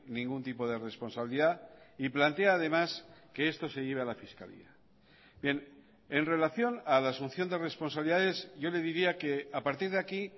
ningún tipo de responsabilidad y plantea además que esto se lleve a la fiscalía bien en relación a la asunción de responsabilidades yo le diría que a partir de aquí